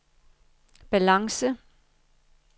balance